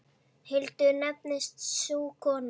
Hildur nefnist sú kona.